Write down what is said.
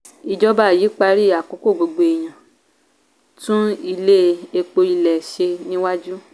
ìjọba yí parí àkókò gbogbo èèyàn tún ilé epo ilẹ̀ ṣe níwájú.